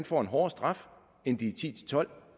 får en hårdere straf end de ti til tolv